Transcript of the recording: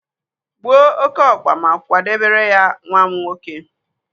Gbuo ókéọkpa ma kwadebere ya nwa m nwoke.